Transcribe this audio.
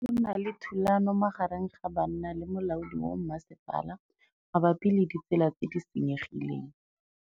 Go na le thulanô magareng ga banna le molaodi wa masepala mabapi le ditsela tse di senyegileng.